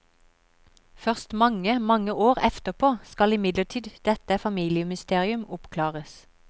Først mange, mange år efterpå skal imidlertid dette familiemysterium oppklares.